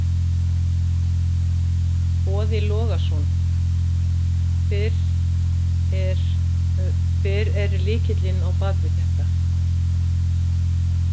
Boði Logason: Hver er, hver er lykillinn á bakvið þetta?